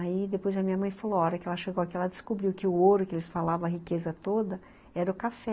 Aí depois a minha mãe falou, a hora que ela chegou aqui, ela descobriu que o ouro que eles falavam, a riqueza toda, era o café.